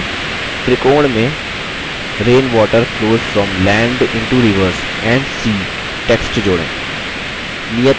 त्रिकोण में rain water flows from land into rivers and sea text जोड़ें